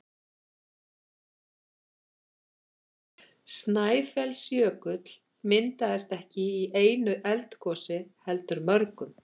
Snæfellsjökull myndaðist ekki í einu eldgosi heldur mörgum.